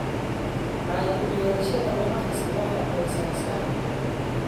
Caado u yeelashada wax akhrisku waxay caawisaa maskaxda.